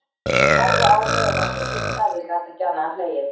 Horfði á mig og var svo hissa að ég gat ekki annað en hlegið.